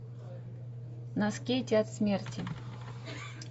на скейте от смерти